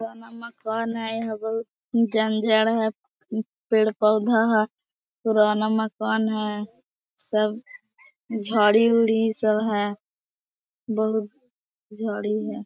पुराना मकान है यहाँ बहोत जंजाड़ हैं। पेड़पौधा हैं। पुराण मकान है। सब झाड़ी वुडी सा है। बहोत झाड़ी हैं।